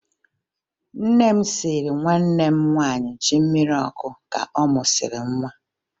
Nne m siiri nwanne m nwaanyị ji mmiri ọkụ ka ọ mụsịrị nwa